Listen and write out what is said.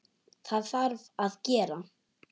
Það þarf að gera.